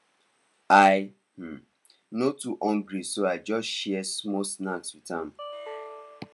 i um no too hungry so i just share small snack with am